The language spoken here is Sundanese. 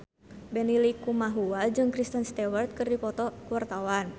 Benny Likumahua jeung Kristen Stewart keur dipoto ku wartawan